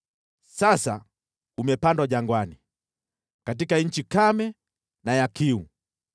Sasa umepandwa jangwani katika nchi kame na ya kiu.